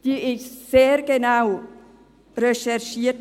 Sie wurde sehr genau recherchiert.